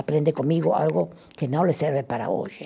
Aprende comigo algo que não lhe serve para hoje.